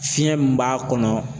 Fiɲɛ min b'a kɔnɔ